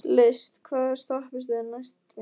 List, hvaða stoppistöð er næst mér?